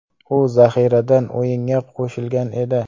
U zaxiradan o‘yinga qo‘shilgan edi.